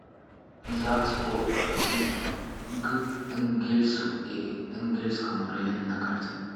загс по г энгельсу и энгельсскому району на карте